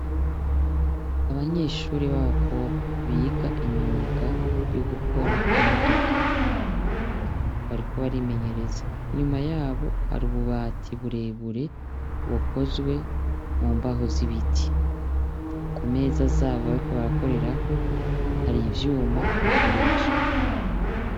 Abanyeshure b'abakobwa biga imyuga yo gukora imodoka. Bariko barimenyereza. Inyuma yabo hari ububati burebure bukozwe mumbaho z'ibiti. Kumeza z'abo bariko barakorerako hari ivyuma bakoresha.